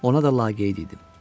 Ona da laqeyd idim.